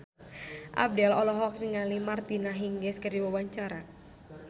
Abdel olohok ningali Martina Hingis keur diwawancara